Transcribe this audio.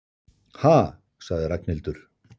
Ha sagði Ragnhildur.